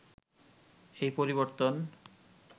এই পরিবর্তন